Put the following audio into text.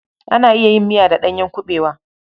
Ana iya yin miya da ɗanyen kuɓewa.